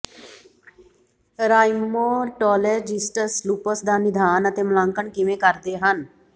rheumatologists lupus ਦਾ ਨਿਦਾਨ ਅਤੇ ਮੁਲਾਂਕਣ ਕਿਵੇਂ ਕਰਦੇ ਹਨ